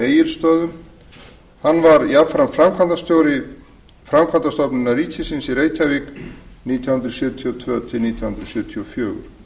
áttatíu og tvö sat á egilsstöðum framkvæmdastjóri framkvæmdastofnunar ríkisins í reykjavík var hann nítján hundruð sjötíu og tvö til nítján hundruð sjötíu og fjögur